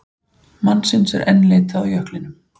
Mannsins enn leitað á jöklinum